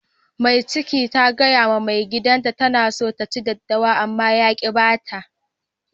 Mata Mai cikin ta gaya ma maigidan ta tana son ta ci daddawa, ama ya ki ba ta